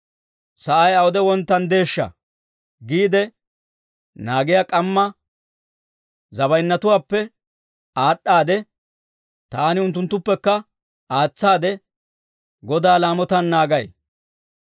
Sa'ay awude wonttanddeeshsha giide naagiyaa k'amma zabaynyatuwaappe aad'd'aade, taani unttunttuppekka aatsaade, Godaa laamotaan naagay.